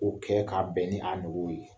O kɛ k'a bɛn ni a nugu ye.